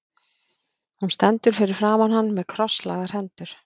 Hún stendur fyrir framan hann með krosslagðar hendur.